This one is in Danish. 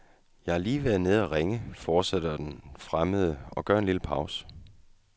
Jeg har lige været nede og ringe, fortsætter den fremmede og gør en lille pause.